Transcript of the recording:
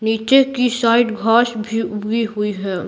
नीचे की साइड घास भी उगी हुई है।